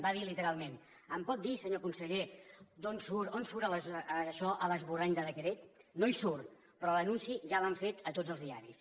va dir literalment em pot dir senyor conseller on surt això a l’esborrany de decret no hi surt però l’anunci ja l’han fet a tots els diaris